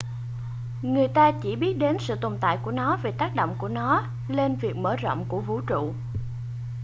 người ta chỉ biết đến sự tồn tại của nó vì tác động của nó lên việc mở rộng của vũ trụ